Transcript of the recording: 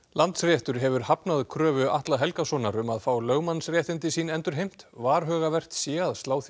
Landsréttur hefur hafnað kröfu Atla Helgasonar um að fá lögmannsréttindi sín endurheimt varhugavert sé að slá því